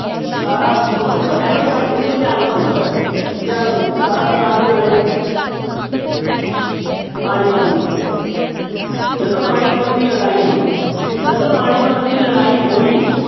ਸਤਾਰਾਂ ਸੌ ਦੇਖੋ ਅਹਿਮਦ ਸ਼ਾਹ ਦੇਖੋ ਧਿਆਨ ਨਾਲ ਸੁਣੋ ਰਾਜੇ ਧਿਆਨ ਨਾਲ ਸੁਣੋ ਸਤਾਰਾਂ ਸੌ ਇਕਾਹਠ ਦੀ ਲੜਾਈ ਹੋਈ ਪਾਣੀਪਤ ਦੀ ਜਦੋਂ ਪਾਣੀਪਤ ਦੀ ਲੜਾਈ ਹੋਈ ਜਦੋਂ ਪਾਣੀਪਤ ਦੀ ਲੜਾਈ ਹੋਈ